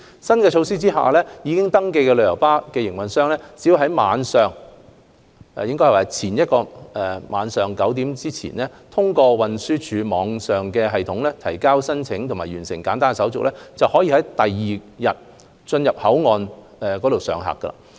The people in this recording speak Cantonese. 在新措施下，已登記的旅遊巴營辦商只要在前一天晚上9時前，通過運輸署網上系統提交申請及完成簡單手續，就可在第二天進入口岸上客區上客。